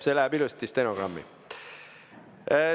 See läheb ilusti stenogrammi.